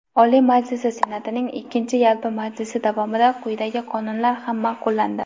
Oliy Majlisi Senatining ikkinchi yalpi majlisi davomida quyidagi qonunlar ham maʼqullandi:.